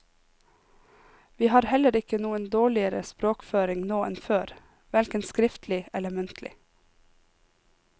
Vi har heller ikke noen dårligere språkføring nå enn før, hverken skriftlig eller muntlig.